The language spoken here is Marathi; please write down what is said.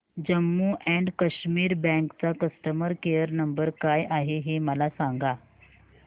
जम्मू अँड कश्मीर बँक चा कस्टमर केयर नंबर काय आहे हे मला सांगा